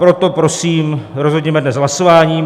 Proto prosím rozhodněme dnes hlasováním.